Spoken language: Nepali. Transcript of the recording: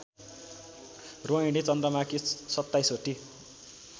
रोहिणी चन्द्रमाकी सत्ताईसवटी